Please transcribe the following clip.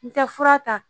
N tɛ fura ta